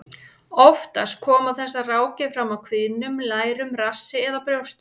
Oftast koma þessar rákir fram á kviðnum, lærum, rassi eða brjóstum.